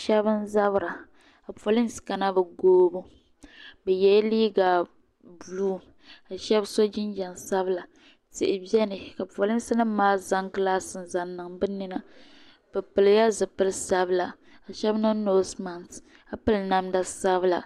Shɛba n-zabira ka polinsi kana bɛ goobu bɛ yela liiga buluu ka shɛba so jinjam sabila tihi beni ka polinsi nima maa zaŋ gilaasi n-zaŋ niŋ bɛ nina bɛ pilila zipili sabila ka shɛba niŋ noosi maaki ka piri namda sabila